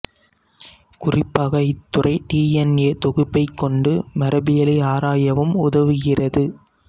குறிப்பாக இத்துறை D N A தொகுப்பை கொண்டு மரபியலை ஆராயவும் உதவுகிறது